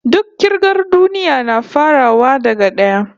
Duk kirgar duniya na farawa daga d'aya